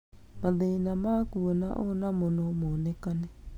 Mathĩna ma kuona onamo nomonekane